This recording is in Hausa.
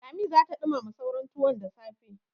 Lami za ta ɗumama sauran tuwon da safe.